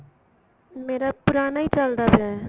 ਮੇਰਾ ਪੁਰਾਣਾ ਹੀ ਚਲਦਾ ਪਿਆ ਏ